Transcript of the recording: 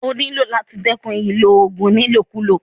O nílò láti dẹ́kun ìlò oògùn ní ìlòkulò.